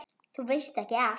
Þú veist ekki allt.